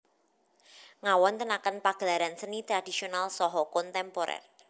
Ngawontenaken pagelaran seni tradisonal saha kontemporer